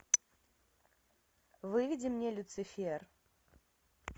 выведи мне люцифер